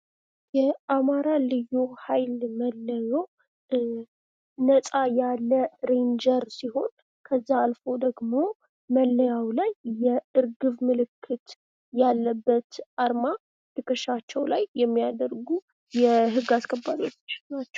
የአማራ ልዩ ሃይል መለዮ ነፃ ያለ ሬንጀር ሲሆን ከዛ አልፎ ደግሞ መለያው ላይ የእርግብ ምልክት ያለበት አርማ ትክሻቸው ላይ የሚያደርጉ የህግ አስከባሪዎች ናቸው ።